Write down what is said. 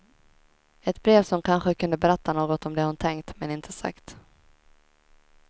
Ett brev som kanske kunde berätta något om det hon tänkt, men inte sagt.